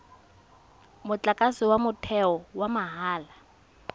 motlakase wa motheo wa mahala